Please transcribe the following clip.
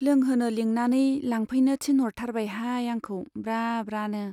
लोंहोनो लिंनानै लांफैनो थिनह'रथारबाय हाय आंखौ ब्रा ब्रानो।